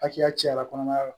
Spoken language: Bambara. Hakɛya cayara kɔnɔbara la